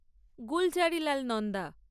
Gulzarilal Nanda